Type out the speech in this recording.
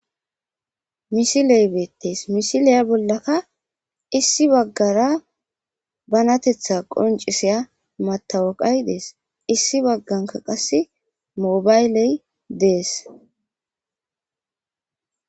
Misiley beettees misiliya bollaka issi baggara banatetha qonciseya matawaqay dees issi bagganka qasse mobayley dees.